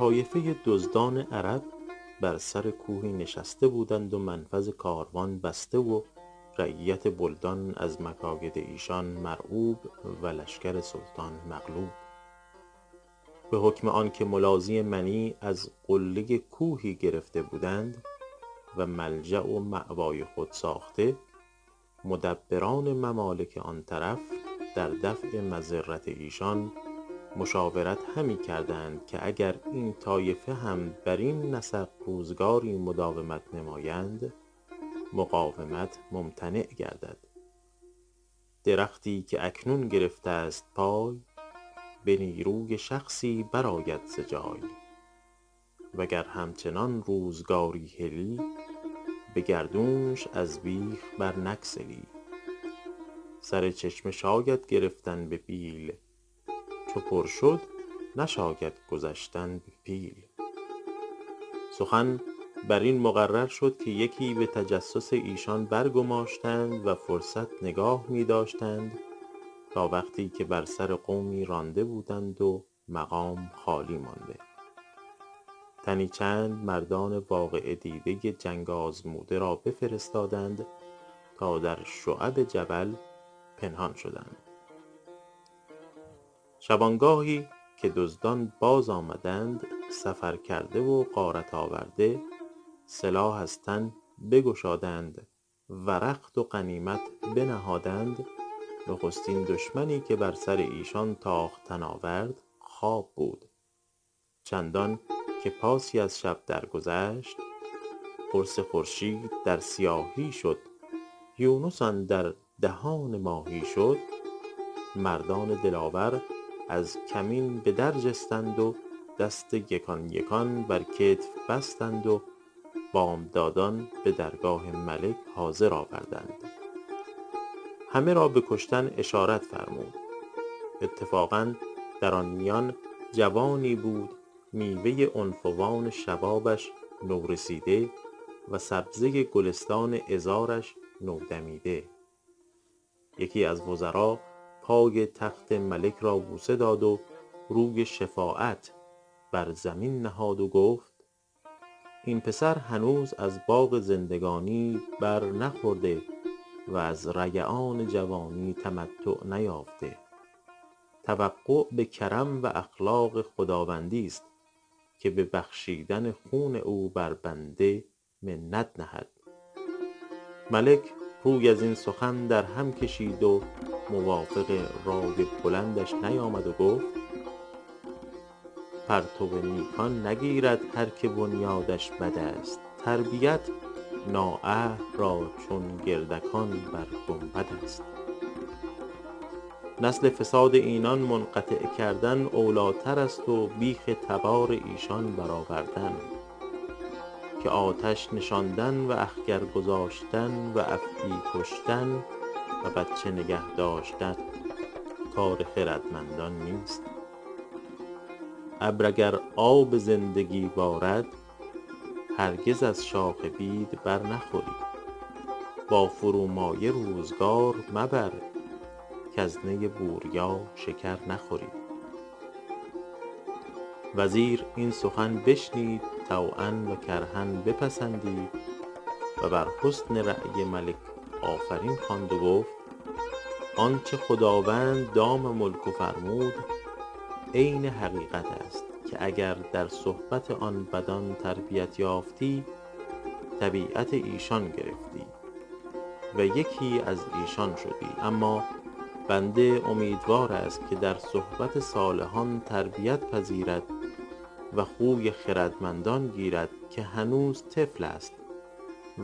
طایفه دزدان عرب بر سر کوهی نشسته بودند و منفذ کاروان بسته و رعیت بلدان از مکاید ایشان مرعوب و لشکر سلطان مغلوب به حکم آنکه ملاذی منیع از قله کوهی گرفته بودند و ملجأ و مأوای خود ساخته مدبران ممالک آن طرف در دفع مضرت ایشان مشاورت همی کردند که اگر این طایفه هم برین نسق روزگاری مداومت نمایند مقاومت ممتنع گردد درختی که اکنون گرفته ست پای به نیروی شخصی برآید ز جای و گر همچنان روزگاری هلی به گردونش از بیخ بر نگسلی سر چشمه شاید گرفتن به بیل چو پر شد نشاید گذشتن به پیل سخن بر این مقرر شد که یکی به تجسس ایشان برگماشتند و فرصت نگاه می داشتند تا وقتی که بر سر قومی رانده بودند و مقام خالی مانده تنی چند مردان واقعه دیده جنگ آزموده را بفرستادند تا در شعب جبل پنهان شدند شبانگاهی که دزدان باز آمدند سفرکرده و غارت آورده سلاح از تن بگشادند و رخت و غنیمت بنهادند نخستین دشمنی که بر سر ایشان تاختن آورد خواب بود چندان که پاسی از شب در گذشت قرص خورشید در سیاهی شد یونس اندر دهان ماهی شد مردان دلاور از کمین به در جستند و دست یکان یکان بر کتف بستند و بامدادان به درگاه ملک حاضر آوردند همه را به کشتن اشارت فرمود اتفاقا در آن میان جوانی بود میوه عنفوان شبابش نورسیده و سبزه گلستان عذارش نودمیده یکی از وزرا پای تخت ملک را بوسه داد و روی شفاعت بر زمین نهاد و گفت این پسر هنوز از باغ زندگانی بر نخورده و از ریعان جوانی تمتع نیافته توقع به کرم و اخلاق خداوندی ست که به بخشیدن خون او بر بنده منت نهد ملک روی از این سخن در هم کشید و موافق رای بلندش نیامد و گفت پرتو نیکان نگیرد هر که بنیادش بد است تربیت نااهل را چون گردکان بر گنبد است نسل فساد اینان منقطع کردن اولی تر است و بیخ تبار ایشان بر آوردن که آتش نشاندن و اخگر گذاشتن و افعی کشتن و بچه نگه داشتن کار خردمندان نیست ابر اگر آب زندگی بارد هرگز از شاخ بید بر نخوری با فرومایه روزگار مبر کز نی بوریا شکر نخوری وزیر این سخن بشنید طوعا و کرها بپسندید و بر حسن رای ملک آفرین خواند و گفت آنچه خداوند دام ملکه فرمود عین حقیقت است که اگر در صحبت آن بدان تربیت یافتی طبیعت ایشان گرفتی و یکی از ایشان شدی اما بنده امیدوار است که در صحبت صالحان تربیت پذیرد و خوی خردمندان گیرد که هنوز طفل است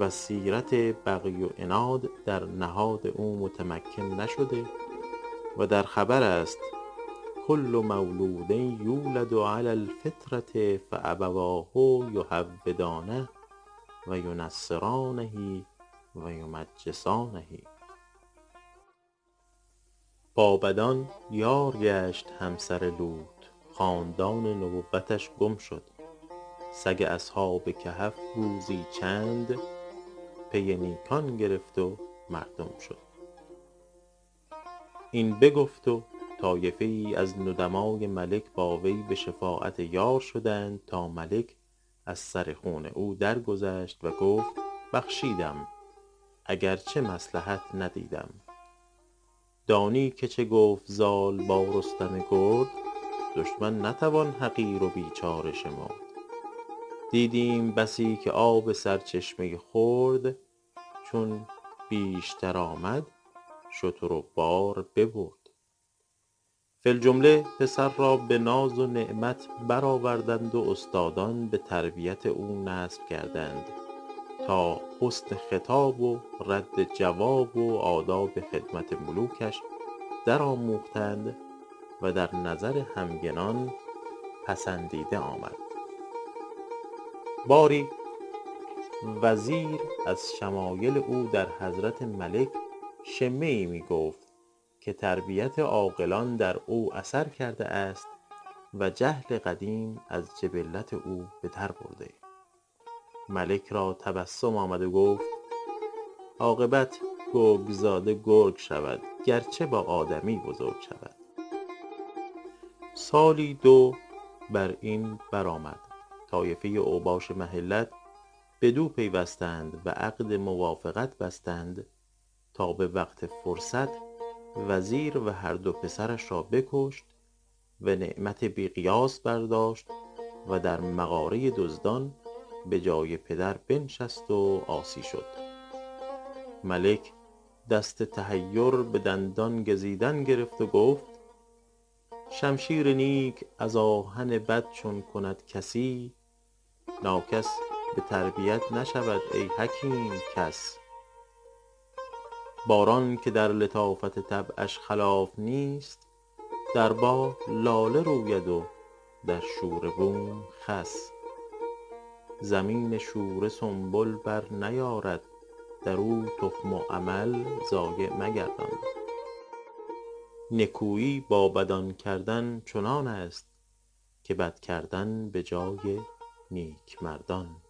و سیرت بغی و عناد در نهاد او متمکن نشده و در خبر است کل مولود یولد علی الفطرة فأبواه یهودانه و ینصرانه و یمجسانه با بدان یار گشت همسر لوط خاندان نبوتش گم شد سگ اصحاب کهف روزی چند پی نیکان گرفت و مردم شد این بگفت و طایفه ای از ندمای ملک با وی به شفاعت یار شدند تا ملک از سر خون او درگذشت و گفت بخشیدم اگرچه مصلحت ندیدم دانی که چه گفت زال با رستم گرد دشمن نتوان حقیر و بیچاره شمرد دیدیم بسی که آب سرچشمه خرد چون بیشتر آمد شتر و بار ببرد فی الجمله پسر را به ناز و نعمت بر آوردند و استادان به تربیت او نصب کردند تا حسن خطاب و رد جواب و آداب خدمت ملوکش در آموختند و در نظر همگنان پسندیده آمد باری وزیر از شمایل او در حضرت ملک شمه ای می گفت که تربیت عاقلان در او اثر کرده است و جهل قدیم از جبلت او به در برده ملک را تبسم آمد و گفت عاقبت گرگ زاده گرگ شود گرچه با آدمی بزرگ شود سالی دو بر این بر آمد طایفه اوباش محلت بدو پیوستند و عقد موافقت بستند تا به وقت فرصت وزیر و هر دو پسرش را بکشت و نعمت بی قیاس برداشت و در مغاره دزدان به جای پدر بنشست و عاصی شد ملک دست تحیر به دندان گزیدن گرفت و گفت شمشیر نیک از آهن بد چون کند کسی ناکس به تربیت نشود ای حکیم کس باران که در لطافت طبعش خلاف نیست در باغ لاله روید و در شوره بوم خس زمین شوره سنبل بر نیارد در او تخم و عمل ضایع مگردان نکویی با بدان کردن چنان است که بد کردن به جای نیک مردان